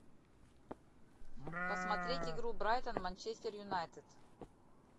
посмотреть игру брайтон манчестер юнайтед